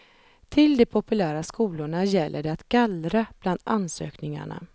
Till de populära skolorna gäller det att gallra bland ansökningarna.